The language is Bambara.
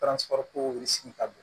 ka bon